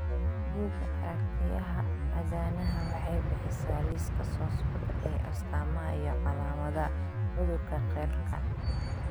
Bugga Aaragtiyaha aadanaha waxay bixisaa liiska soo socda ee astamaha iyo calaamadaha cudurka Kyrlka.